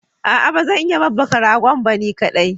Aa bazan iya babbaka ragon ba ni kadai